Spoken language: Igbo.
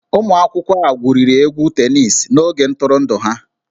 Ụmụ akwụkwọ a gwuriri egwu tenisi n'oge ntụrụndụ ha